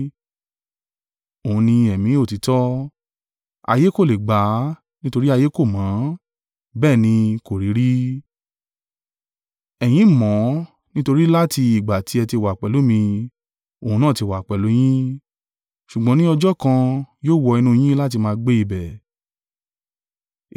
Òun ni Ẹ̀mí òtítọ́. Ayé kò le gbà á. Nítorí ayé kò mọ̀ ọ́n, bẹ́ẹ̀ ni kò rí i rí. Ẹ̀yin mọ̀ ọn nítorí láti ìgbà tí ẹ ti wà pẹ̀lú mí. Òun náà ti wà pẹ̀lú yín. Ṣùgbọ́n ní ọjọ́ kan yóò wọ inú yín láti máa gbé ibẹ̀.